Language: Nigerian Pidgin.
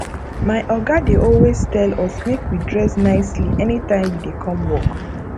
my oga dey always tell us make we dress nicely anytime we dey come work